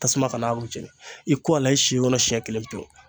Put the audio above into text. Tasuma kana u jeni i ko a la i si kɔnɔ siɲɛ kelen pewu